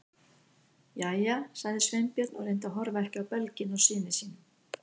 Jæja- sagði Sveinbjörn og reyndi að horfa ekki á belginn á syni sínum.